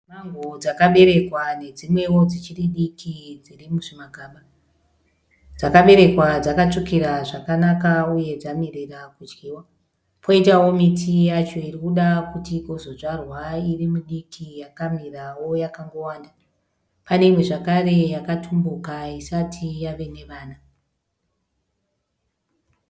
Mango dzakaberekwa nedzimwewo dzichiri diki dziri muzvimagaba. Dzakaberekwa dzakatsvukira zvakanaka uye dzamirira kudyiwa . Koitawo miti yacho irikuda kuti igozodzvarwa irimidiki yakamirawo yakangowanda. Pane imwe zvakare yakatumbuka isati yave nevana .